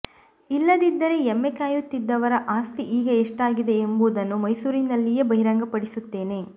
ಇಲ್ಲದಿದ್ದರೆ ಎಮ್ಮೆ ಕಾಯುತ್ತಿದ್ದವರ ಆಸ್ತಿ ಈಗ ಎಷ್ಟಾಗಿದೆ ಎಂಬುದನ್ನು ಮೈಸೂರಿನಲ್ಲಿಯೇ ಬಹಿರಂಗಪಡಿಸುತ್ತೇನೆ